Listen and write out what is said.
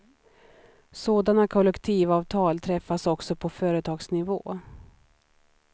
Sådana kollektivavtal träffas också på företagsnivå.